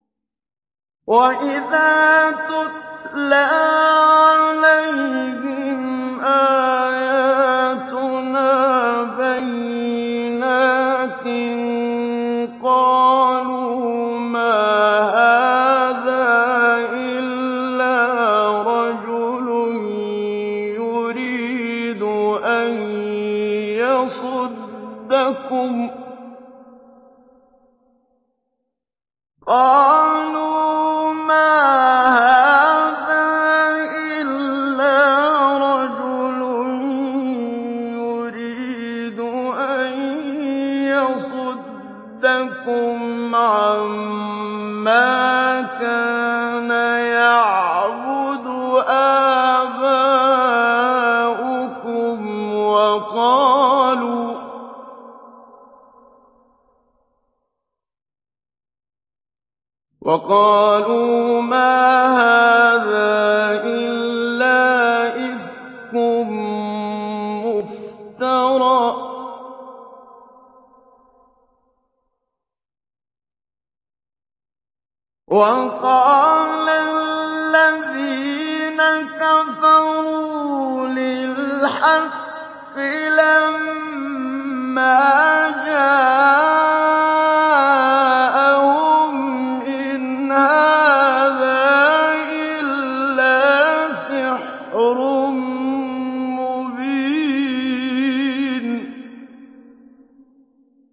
وَإِذَا تُتْلَىٰ عَلَيْهِمْ آيَاتُنَا بَيِّنَاتٍ قَالُوا مَا هَٰذَا إِلَّا رَجُلٌ يُرِيدُ أَن يَصُدَّكُمْ عَمَّا كَانَ يَعْبُدُ آبَاؤُكُمْ وَقَالُوا مَا هَٰذَا إِلَّا إِفْكٌ مُّفْتَرًى ۚ وَقَالَ الَّذِينَ كَفَرُوا لِلْحَقِّ لَمَّا جَاءَهُمْ إِنْ هَٰذَا إِلَّا سِحْرٌ مُّبِينٌ